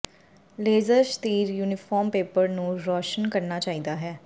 laser ਸ਼ਤੀਰ uniform paper ਨੂੰ ਰੌਸ਼ਨ ਕਰਨਾ ਚਾਹੀਦਾ ਹੈ